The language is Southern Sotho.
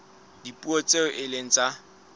dipuo tseo e seng tsa